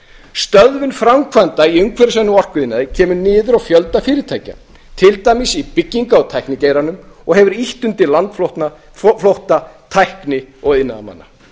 stöðvun framkvæmda í umhverfisvænum orkuiðnaði kemur niður á fjölda fyrirtækja til dæmis í bygginga og tæknigeiranum og hefur ýtt undir landflótta tækni og iðnaðarmanna